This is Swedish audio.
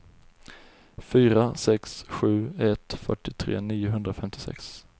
fyra sex sju ett fyrtiotre niohundrafemtiosex